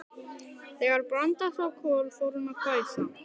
Þegar Branda sá Kol fór hún að hvæsa.